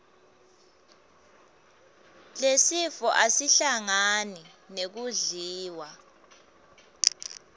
lesifo asihlangani nekudliwa